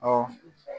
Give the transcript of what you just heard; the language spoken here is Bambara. Ɔ